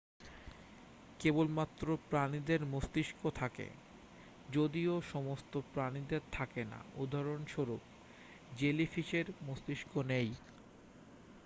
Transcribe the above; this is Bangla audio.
কেবলমাত্র প্রাণীদের মস্তিষ্ক থাকে যদিও সমস্ত প্রাণীদের থাকে না; উদাহরণস্বরূপ জেলিফিশের মস্তিষ্ক নেই।